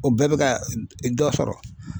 O bɛɛ bɛ ka dɔ sɔrɔ.